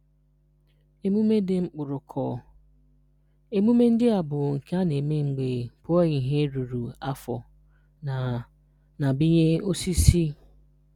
Emume Di Mkpụrụkọọ: Emume ndị a bụ nke a na-eme mgbe pụọ ihe ruru afọ na na binye osisi.